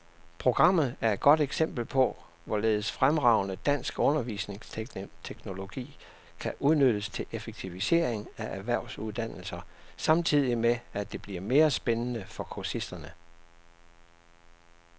Programmet er et godt eksempel på, hvorledes fremragende dansk undervisningsteknologi kan udnyttes til effektivisering af erhvervsuddannelser samtidig med, at det bliver mere spændende for kursisterne.